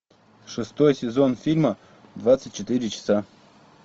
шестой сезон фильма двадцать четыре часа